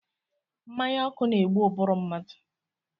Mmanya ọkụ na-egbu ụbụrụ mmadụ.